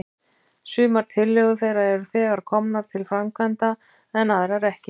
Sumar tillögur þeirra eru þegar komnar til framkvæmda, en aðrar ekki.